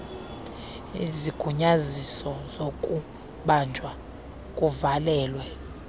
izigunyanyiso zokubanjwa kuvalelwe